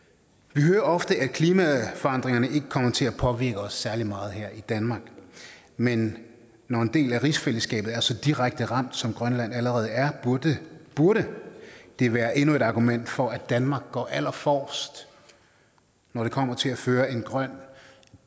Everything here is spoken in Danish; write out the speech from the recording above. vi hører ofte at klimaforandringerne ikke kommer til at påvirke os særlig meget her i danmark men når en del af rigsfællesskabet er så direkte ramt som grønland allerede er burde det være endnu et argument for at danmark går allerforrest når det kommer til at føre en grøn